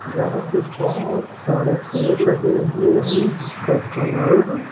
जहाँ पे बहुत सारे पेड़ लगे हुए हैं जिसका कलर --